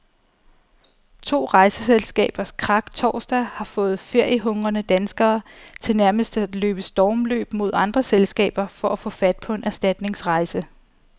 To rejseselskabers krak torsdag har fået feriehungrende danskere til nærmest at løbe stormløb mod andre selskaber for at få fat på en erstatningsrejse.